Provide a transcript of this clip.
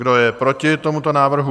Kdo je proti tomuto návrhu?